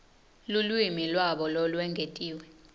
lulwimi lwabo lolwengetiwe